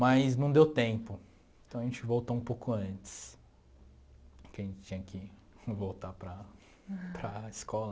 Mas não deu tempo, então a gente voltou um pouco antes, porque a gente tinha que voltar para para a escola.